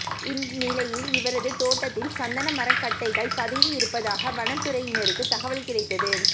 இந்நிலையில் இவரது தோட்டத்தில் சந்தன மரம் கட்டைகள் பதுக்கி இருப்பதாக வனத்துறையினருக்கு தகவல் கிடைத்தது